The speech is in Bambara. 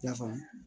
I y'a faamu